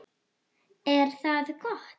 Er það gott?